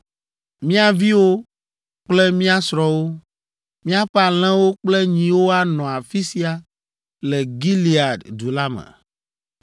Mía viwo kple mía srɔ̃wo, míaƒe alẽwo kple nyiwo anɔ afi sia le Gilead du la me.